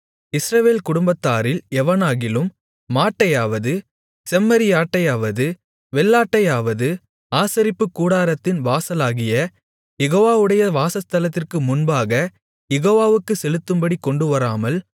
இஸ்ரவேல் குடும்பத்தாரில் எவனாகிலும் மாட்டையாவது செம்மறியாட்டையாவது வெள்ளாட்டையாவது ஆசரிப்புக்கூடாரத்தின் வாசலாகிய யெகோவாவுடைய வாசஸ்தலத்திற்கு முன்பாக யெகோவாவுக்குச் செலுத்தும்படி கொண்டுவராமல்